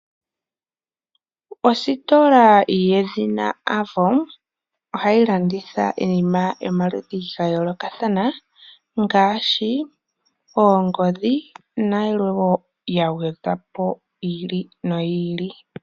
Ositola yedhina Avo ohayi landitha iinima yomaludhi ga yoolokathana ngaashi oongodhi nayilwe woo yagwedhwapo yi ili no yi ili.